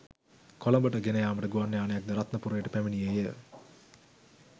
කොළඹට ගෙනයාමට ගුවන්යානයක් ද රත්නපුරයට පැමිණියේය.